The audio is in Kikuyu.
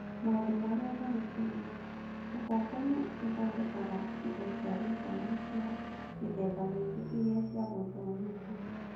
Maũndũ Marĩa Marĩ Thĩinĩ: Ubongo nĩ ĩthondekaga indo cia gĩthomo cia mĩthemba mĩingĩ irĩa cia gũthomithia.